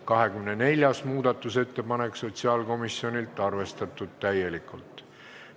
24. muudatusettepanek sotsiaalkomisjonilt, arvestatud täielikult.